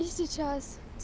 и сейчас